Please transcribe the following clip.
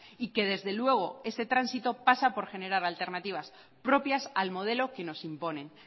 y que desde luego ese tránsito pasa por generar alternativas propias al modelo que nos imponen